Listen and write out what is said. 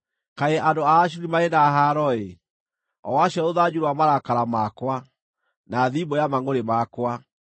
“Kaĩ andũ a Ashuri marĩ na haaro-ĩ! o acio rũthanju rwa marakara makwa, na thimbũ ya mangʼũrĩ makwa!